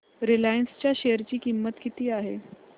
Reliance च्या share ची किंमत काय आहे